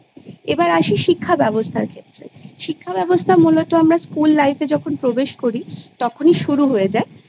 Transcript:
এবার আসি শিক্ষা ব্যবস্থার ক্ষেত্রে শিক্ষা ব্যবস্থা মূলত আমরা School Life এ যখন প্রবেশ করি তখনি শুরু হয়ে যায়